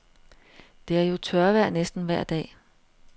Det er jo tørvejr næsten vejr dag.